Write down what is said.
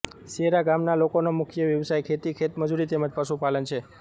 સેરા ગામના લોકોનો મુખ્ય વ્યવસાય ખેતી ખેતમજૂરી તેમ જ પશુપાલન છે